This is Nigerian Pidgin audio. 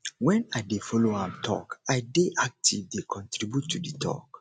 wen i dey folo am tok i dey active dey contribute to di talk